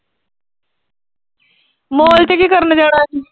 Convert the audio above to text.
Mall ਚ ਕੀ ਕਰਨ ਗਏ ਹੋਏ ਸੀ?